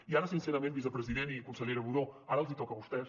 i ara sincerament vicepresident i consellera budó els toca a vostès